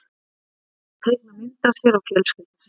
Ég bað þau um að teikna mynd af sér og fjölskyldu sinni.